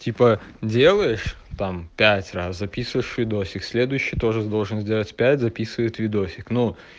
типа делаешь там пять раз записываешь видосик следующий тоже должен сделать пять записывает видосик ну